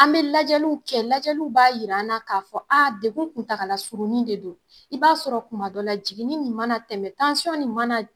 An bɛ lajɛluw kɛ lajɛluw b'a yir'an na k'a fɔ degun kuntagalasurunnin de don. I b'a sɔrɔ kuma dɔ la jiginin nin mana tɛmɛ nin mana